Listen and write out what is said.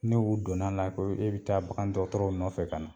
Ni u donn'a la ko e be taa bagandɔgɔtɔrɔw nɔfɛ ka na.